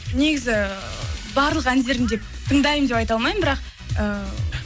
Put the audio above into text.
негізі барлық әндерін деп тыңдаймын деп айта алмаймын бірақ эээ